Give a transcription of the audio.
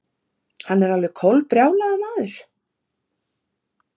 Hann er alveg kolbrjálaður maður.